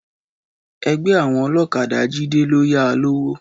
Ẹgbẹ́ àwọn ọlọ́kadà Jídé ló yá a lówó.